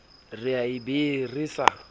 re a be re sa